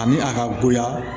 Ani a ka goya